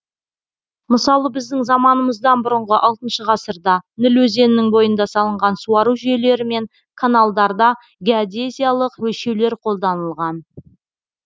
мысалы біздің заманымыздан бұрынғы алтыншы ғасырда ніл өзенінің бойында салынған суару жүйелері мен каналдарда геодезиялық өлшеулер қолданылған